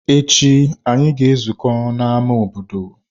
Echi, anyị ga-ezukọ na square obodo.